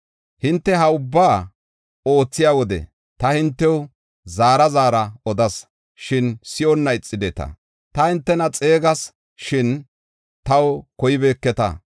Hinte ha ubbaa oothiya wode ta hintew zaara zaara odas; shin si7onna ixideta. Ta hintena xeegas; shin taw koybeketa.